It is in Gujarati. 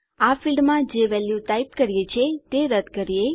આ ફીલ્ડમાં જે વેલ્યુ ટાઈપ કર્યી છે તે રદ કરીએ